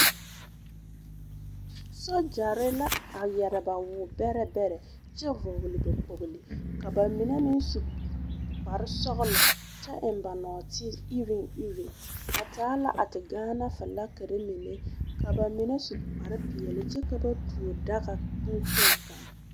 Sogyare la a yɛre ba wɔbɛre beɛrɛ, kyɛ vɔgeli ba kpolo ka ba mine meŋ su kpare sɔglɔ kyɛ eŋe ba nɔɔte ireŋ ireŋ, ba taa la a te gaana flakiri mine ka ba mine su kpare pɛɛle. kyɛ ka ba tuo daga bon kpoŋ kaŋ.